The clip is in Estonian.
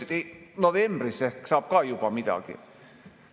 Siis öeldi, et novembris ehk saab ka juba midagi.